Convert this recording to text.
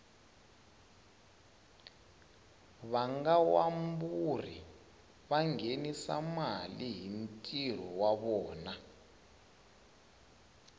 vangawamburi vangenisa male hhintiro wavona